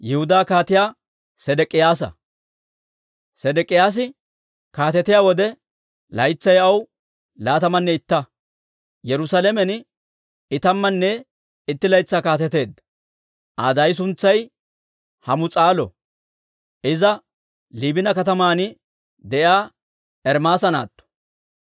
Sedek'k'iyaasi kaatetiyaa wode, laytsay aw laatamanne itta; Yerusaalamen I tammanne itti laytsaa kaateteedda. Aa daay suntsay Hamus'aalo; iza Liibina kataman de'iyaa Ermaasa naatto.